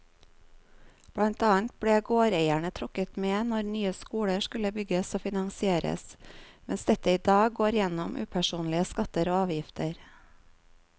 Blant annet ble gårdeierne trukket med når nye skoler skulle bygges og finansieres, mens dette i dag går gjennom upersonlige skatter og avgifter.